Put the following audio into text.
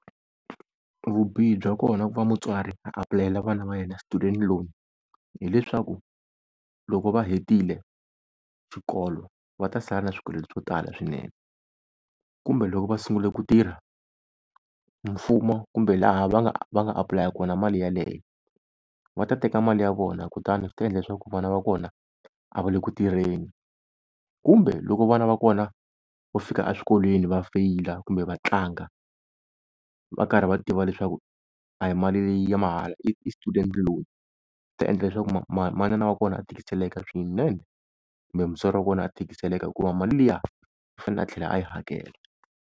Vubihi bya kona ku va mutswari a apulayela vana va yena student loan, hileswaku loko va hetile xikolo va ta sala na swikweleti swo tala swinene. Kumbe loko va sungule ku tirha mfumo kumbe laha va nga va nga apulaya kona mali yaleyo, va ta teka mali ya vona kutani swi ta endla leswaku vana va kona a va le ku tirheni. Kumbe loko vana va kona vo fika eswikolweni va feyila kumbe va tlanga, va karhi va tiva leswaku a hi mali leyi ya mahala i student loan, swi ta endla leswaku manana wa kona a tikiseleka swinene kumbe mutswari wa kona a tikiseleka hikuva mali liya u fanekele a tlhela a yi hakela.